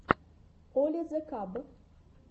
оли зе каб